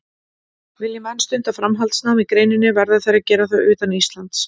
Vilji menn stunda framhaldsnám í greininni verða þeir að gera það utan Íslands.